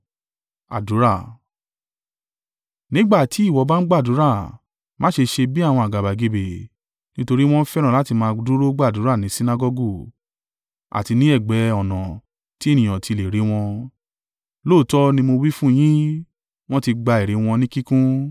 “Nígbà tí ìwọ bá ń gbàdúrà, má ṣe ṣe bí àwọn àgàbàgebè, nítorí wọn fẹ́ràn láti máa dúró gbàdúrà ní Sinagọgu àti ní ẹ̀gbẹ́ ọ̀nà tí ènìyàn ti lè rí wọ́n. Lóòótọ́ ni mo wí fún yín, wọ́n ti gba èrè wọn ní kíkún.